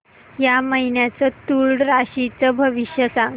या महिन्याचं तूळ राशीचं भविष्य सांग